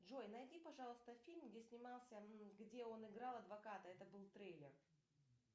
джой найди пожалуйста фильм где снимался м где он играл адвоката это был трейлер